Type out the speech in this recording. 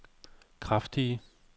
kraftige